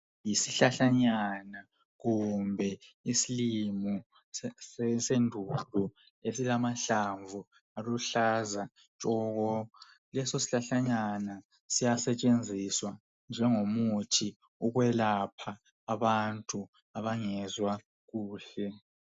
Isihlahlanyana kumbe isilimo sendumba esilamahlamvu aluhlaza tshoko leso sihlahlanyana siyasetshenziswa ukwelapha abantu abangezwa kuhle